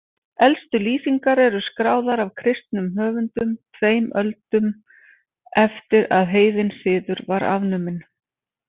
Elstu lýsingar eru skráðar af kristnum höfundum tveim öldum eftir að heiðinn siður var afnuminn.